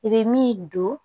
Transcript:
I bɛ min don